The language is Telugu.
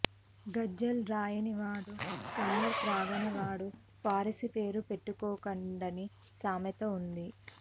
గజల్ రాయనివాడు ఖమర్ త్రాగనివాడు ఫారసీ పేరు పెట్టుకోకండని సామెత ఉంది